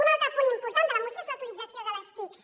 un altre punt important de la moció és la utilització de les tics